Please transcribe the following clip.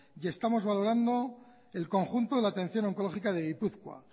y estamos valorando el conjunto de atención oncológica de gipuzkoa